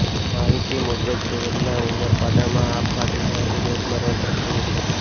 માહિતી મુજબ સુરતના ઉમરપાડામાં આભ ફાટ્યું હોવાથી ધોધમાર વરસાદ થયો છે